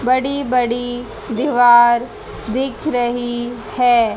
बड़ी बड़ी दीवार दिख रही है।